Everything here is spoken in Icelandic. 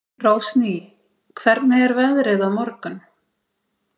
Rósný, hvernig er veðrið á morgun?